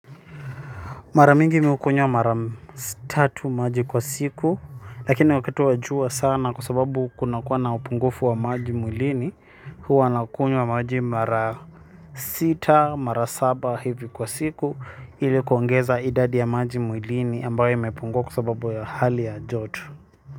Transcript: Maramingi mimi hukunywa mara tatu maji kwa siku lakini wakati wa jua sana kwa sababu kuna kuwa na upungufu wa maji mwilini huwa nakunywa maji mara sita mara saba hivi kwa siku ili kuongeza idadi ya maji mwilini ambayo mepungua kwa sababu ya hali ya joto.